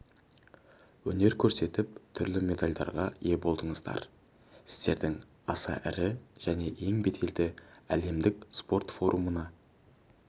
өнер көрсетіп түрлі медальдарға ие болдыңыздар сіздердің аса ірі және ең беделді әлемдік спорт форумына